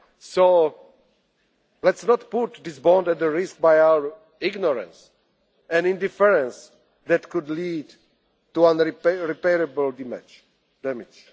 towards the West. So let's not put this bond at risk by our ignorance and indifference that could lead